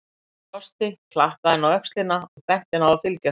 Hann brosti, klappaði henni á öxlina og benti henni að fylgja sér.